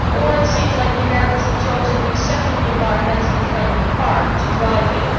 It seems as though the Americans have chosen an exceptionally environmentally friendly car to drive in.